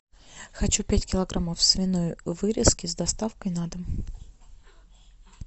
хочу пять килограммов свиной вырезки с доставкой на дом